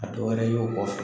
A dɔ wɛrɛ y'o kɔfɛ.